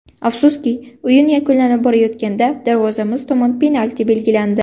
Afsuski, o‘yin yakunlanib borayotganda darvozamiz tomon penalti belgilandi.